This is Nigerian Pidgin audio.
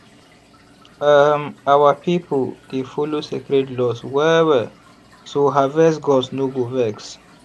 um our pipo dey follow sacred laws well well so harvest gods no go vex.